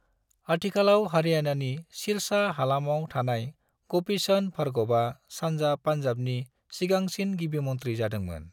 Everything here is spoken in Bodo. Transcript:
आथिखालाव हरियाणानि सिरसा हालामाव थानाय गोपी चंद भार्गवआ सानजा पंजाबनि सिगांसिन गिबिमंत्री जादोंमोन।